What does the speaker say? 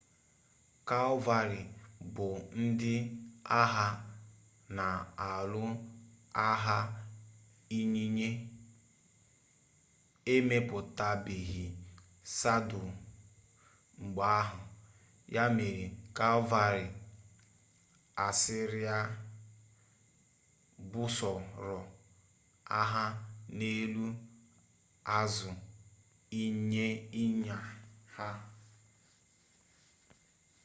kalvarị bu ndi agha na-alụ agha ịnyịnya emepụtabeghị sadụl mgbe ahụ ya mere kalvarị asịrịa busoro agha n'elu azụ ịnyịnya ha